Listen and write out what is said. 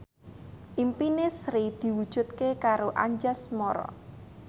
impine Sri diwujudke karo Anjasmara